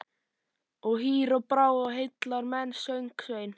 Og hýr á brá og heillar menn, söng Sveinn.